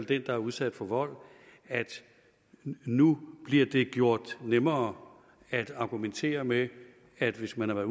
den der er udsat for vold for nu bliver det gjort nemmere at argumentere med at hvis man